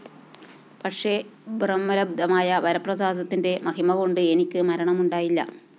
പക്ഷെ ബ്രഹ്മലബ്ധമായ വരപ്രസാദത്തിന്റെ മഹിമകൊണ്ട് എനിക്ക് മരണമുണ്ടായില്ല